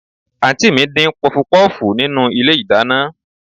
Àǹtí mi ń dín Pọfupọ́ọ̀fù nínú ilé ìdáná